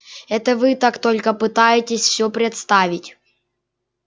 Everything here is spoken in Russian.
это вы так только пытаетесь всё представить